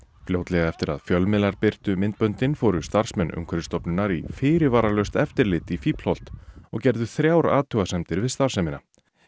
fljótlega eftir að fjölmiðlar birtu myndböndin fóru starfsmenn Umhverfisstofnunar í fyrirvaralaust eftirlit í Fíflholt og gerðu þrjár athugasemdir við starfsemina